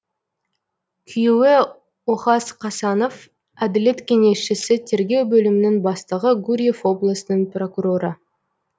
күйеуі охас қасанов әділет кеңесшісі тергеу бөлімінің бастығы гурьев облысының прокуроры